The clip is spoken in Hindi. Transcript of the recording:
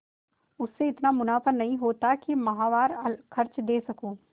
उससे इतना मुनाफा नहीं होता है कि माहवार खर्च दे सकूँ